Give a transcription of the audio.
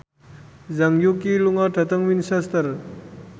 Zhang Yuqi lunga dhateng Winchester